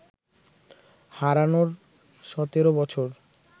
হারানোর সতেরো বছর